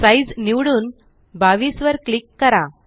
size निवडून 22 वर click करा